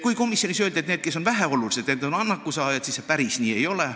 Kuigi komisjonis öeldi, et need, kes on väheolulised, on annakusaajad, see päris nii ei ole.